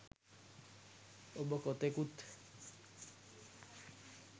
ඔබ කොතෙකුත්